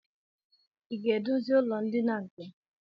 I ga-edozi ụlọndina nke m?